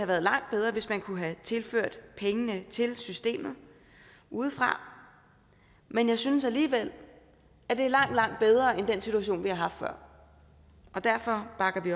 været langt bedre hvis man kunne have tilført pengene til systemet udefra men jeg synes alligevel at det er langt langt bedre end den situation vi har haft før og derfor bakker vi